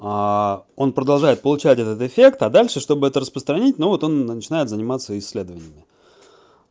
а он продолжает получать этот эффект а дальше чтобы это распространить но вот он начинает заниматься исследованиями